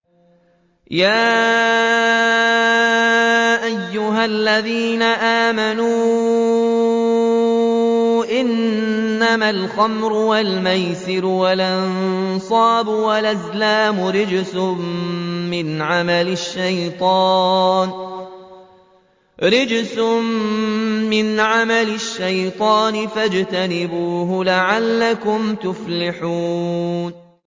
يَا أَيُّهَا الَّذِينَ آمَنُوا إِنَّمَا الْخَمْرُ وَالْمَيْسِرُ وَالْأَنصَابُ وَالْأَزْلَامُ رِجْسٌ مِّنْ عَمَلِ الشَّيْطَانِ فَاجْتَنِبُوهُ لَعَلَّكُمْ تُفْلِحُونَ